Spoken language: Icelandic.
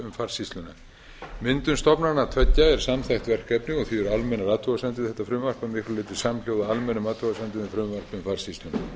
farsýsluna myndun stofnananna tveggja er samþætt verkefni og því eru almennar athugasemdir við þetta frumvarp að miklu leyti samhljóða almennum athugasemdum við frumvarp um farsýsluna